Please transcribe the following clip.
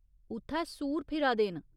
उत्थै सूर फिरा दे न।